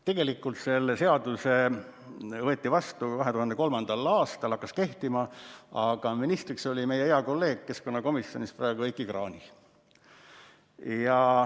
Tegelikult, see seadus võeti vastu 2003. aastal, see hakkas siis kehtima ja ministriks oli meie hea kolleeg keskkonnakomisjonis Heiki Kranich.